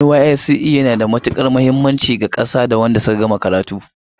NYSC na da matukar muhimmanci ga ƙasa da wadanda suka kammala karatu